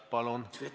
Palun!